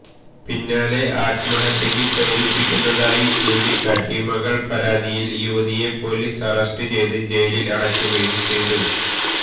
പിന്നാലെ ആത്മഹത്യയ്ക്ക് പ്രേരിപ്പിക്കുന്നതായി ചൂണ്ടിക്കാട്ടി മകള് പരാതിയില് യുവതിയെ പൊലീസ് അറസ്റ്റ് ചെയ്ത് ജയിലില് അടയ്ക്കുകയും ചെയ്തു